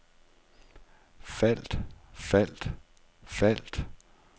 faldt faldt faldt